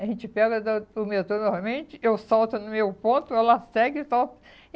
A gente pega da o metrô novamente, eu solto no meu ponto, ela segue e solta.